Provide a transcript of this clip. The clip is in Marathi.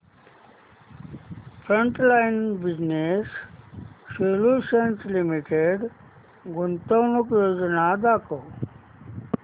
फ्रंटलाइन बिजनेस सोल्यूशन्स लिमिटेड गुंतवणूक योजना दाखव